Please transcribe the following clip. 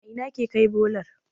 a Ina ake Kai bolar?